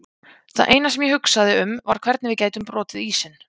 Það eina sem ég hugsaði um var hvernig við gætum brotið ísinn.